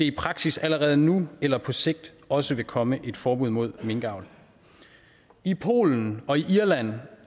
i praksis allerede nu eller på sigt også vil komme et forbud mod minkavl i polen irland